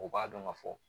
U b'a dɔn ka fɔ